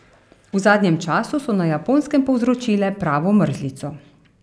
V zadnjem času so na Japonskem povzročile pravo mrzlico.